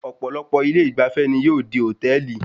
Ọ̀pọ̀lọpọ̀ ilé ìgbafẹ́ ni yóò di hòtẹ́ẹ̀lì.